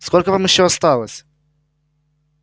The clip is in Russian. сколько вам ещё осталось